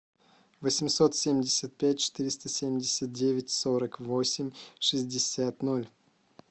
восемьсот семьдесят пять четыреста семьдесят девять сорок восемь шестьдесят ноль